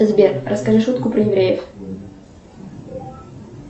сбер расскажи шутку про евреев